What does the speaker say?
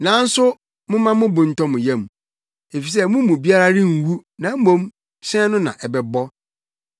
Nanso momma mo bo ntɔ mo yam, efisɛ mo mu biara renwu na mmom, hyɛn no na ɛbɛbɔ.